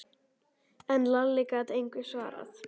En Lalli gat engu svarað.